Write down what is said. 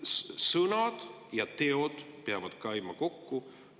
Sõnad ja teod peavad käima kokku.